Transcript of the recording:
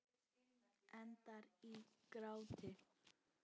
Endar í gráti.